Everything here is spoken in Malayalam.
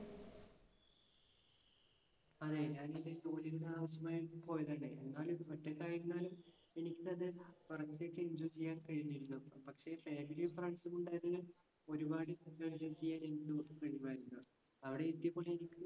അതെ. ഞാൻ എൻ്റെ ജോലിയുടെ ആവശ്യമായിട്ട് പോയതാണ്. എന്നാലും ഒറ്റക്കായിരുന്നാലും എനിക്ക് തന്നെ enjoy ചെയ്യാൻ കഴിഞ്ഞിരുന്നു. പക്ഷെ family യും friends സും ഉണ്ടായിരുന്നെങ്കിൽ ഒരുപാട് കഴിവുമായിരുന്നു. അവിടെ എനി